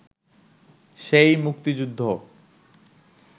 সেই মুক্তিযুদ্ধ